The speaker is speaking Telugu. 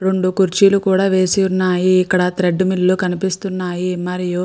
రెండు కుర్చీలు వేసి ఉన్నాయి ఇక్కడ థ్రెడ్మిల్ లు కనిపిస్తున్నాయి మరియు --